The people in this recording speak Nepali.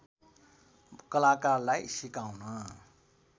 कलाकारलाई सिकाउन